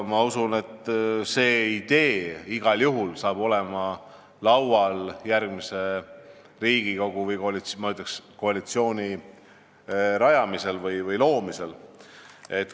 Ma usun, et see idee igal juhul on laual järgmises Riigikogus või koalitsiooni loomisel.